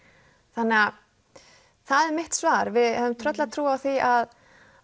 þannig það er mitt svar við höfum tröllatrú á því að